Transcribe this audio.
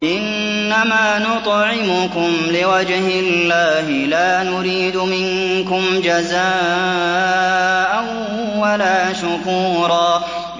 إِنَّمَا نُطْعِمُكُمْ لِوَجْهِ اللَّهِ لَا نُرِيدُ مِنكُمْ جَزَاءً وَلَا شُكُورًا